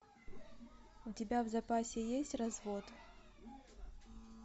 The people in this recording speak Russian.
у тебя в запасе есть развод